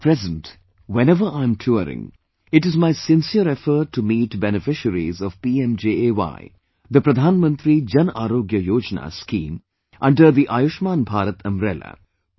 At present, whenever I'm touring, it is my sincere effort to meet people beneficiaries of 'PMJAY' scheme under Ayushman Bharat's umbrella